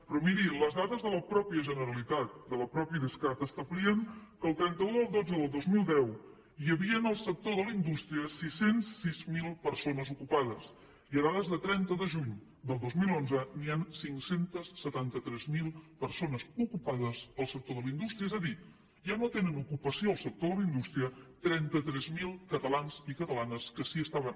però miri les dades de la mateixa generalitat del mateix idescat establien que el trenta un del xii del dos mil deu hi havia en el sector de la indústria sis cents i sis mil persones ocupades i en data de trenta de juny del dos mil onze hi han cinc cents i setanta tres mil persones ocupades al sector de la indústria és a dir ja no tenen ocupació al sector de la indústria trenta tres mil catalans i catalanes que sí que estaven